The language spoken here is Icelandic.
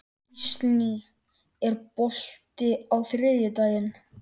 Gíslný, er bolti á þriðjudaginn?